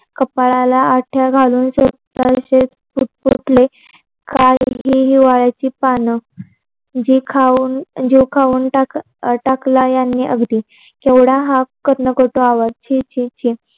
कपाळाला आठया घालून पुटपुटले जीव खाऊन टाकले. काय ही हिवल्याचे पाने जीव खाऊन टाकला यांनी अगदी केवढा हा कर्णकटे आवाज छी छी छी